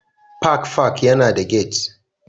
Park Park yana da gate